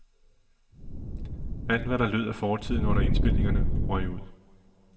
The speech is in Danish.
Alt hvad der lød af fortiden under indspilningerne, røg ud.